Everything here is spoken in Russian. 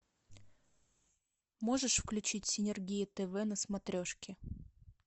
можешь включить синергия тв на смотрешке